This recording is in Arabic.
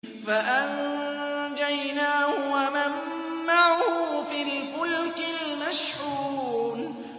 فَأَنجَيْنَاهُ وَمَن مَّعَهُ فِي الْفُلْكِ الْمَشْحُونِ